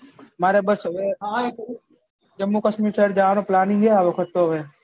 મારે તો બસ હવે જમ્મુ કાશ્મીર side જવાનું planning છે આ વખત તો હવે